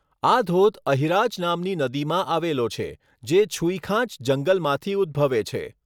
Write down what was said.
આ ધોધ અહિરાજ નામની નદીમાં આવેલો છે, જે છુઈખાંચ જંગલમાંથી ઉદ્ભવે છે.